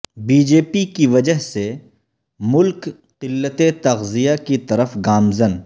be J P کی وجہ سے ملک قلت تغذیہ کی طرف گامزن